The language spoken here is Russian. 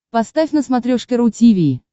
поставь на смотрешке ру ти ви